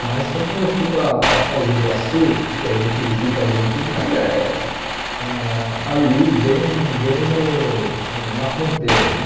Mas foi quando eu fui para para Foz do Iguaçu, que a gente visita a Argentina, mas é ah ali bem bem no na fronteira, né?